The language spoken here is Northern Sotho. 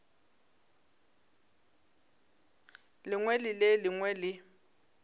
lengwe le le lengwe le